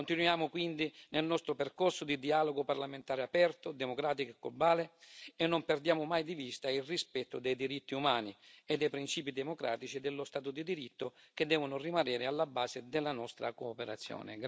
Continuiamo quindi nel nostro percorso di dialogo parlamentare aperto, democratico e globale e non perdiamo mai di vista il rispetto dei diritti umani e dei principi democratici e dello Stato di diritto, che devono rimanere alla base della nostra cooperazione.